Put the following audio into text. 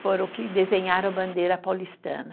foram que desenharam a bandeira paulistana.